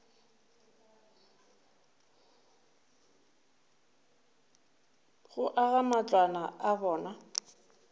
go aga matlwana a bona